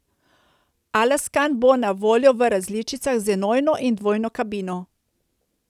Alaskan bo na voljo v različicah z enojno in dvojno kabino.